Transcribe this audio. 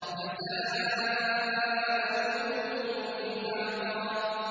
جَزَاءً وِفَاقًا